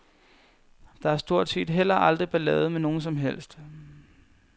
Der er stort set heller aldrig ballade med nogen som helst.